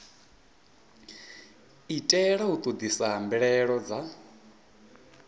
itela u ṱoḓisisa mbilaelo dza